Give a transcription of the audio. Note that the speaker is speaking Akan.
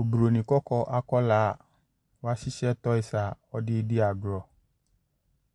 Oburoni kɔkɔɔ akwadaa a wahyehyɛ toys a ɔde redi agorɔ.